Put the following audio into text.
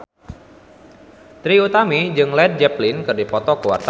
Trie Utami jeung Led Zeppelin keur dipoto ku wartawan